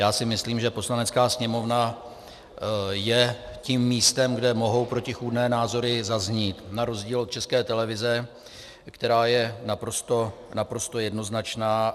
Já si myslím, že Poslanecká sněmovna je tím místem, kde mohou protichůdné názory zaznít, na rozdíl od České televize, která je naprosto jednoznačná.